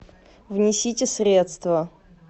внесите средства